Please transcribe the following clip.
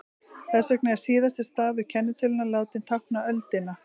Þess vegna er síðasti stafur kennitölunnar látinn tákna öldina.